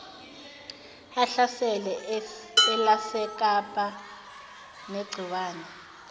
elahlasela elasekapa negciwane